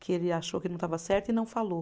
Que ele achou que não estava certo e não falou.